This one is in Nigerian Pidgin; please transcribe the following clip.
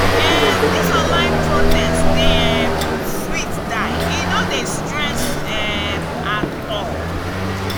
um dis online protest dey um sweet die e no dey stress um at all.